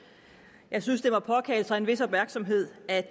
jeg synes at det må påkalde sig en vis opmærksomhed at